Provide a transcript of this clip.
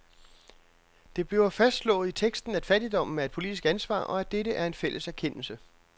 Det bliver fastslået i teksten, at fattigdommen er et politisk ansvar, og at dette er en fælles erkendelse.